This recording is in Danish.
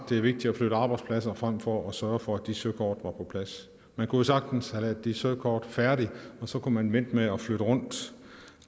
det er vigtigt at flytte arbejdspladser frem for at sørge for at de søkort var på plads man kunne sagtens have lavet de søkort færdige og så kunne man vente med at flytte rundt